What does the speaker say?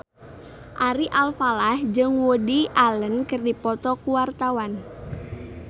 Ari Alfalah jeung Woody Allen keur dipoto ku wartawan